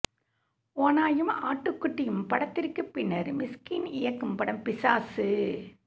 ஓநாயும் ஆட்டுக்குட்டியும் படத்திற்குப் பின்னர் மிஷ்கின் இயக்கும் படம் பிசாசு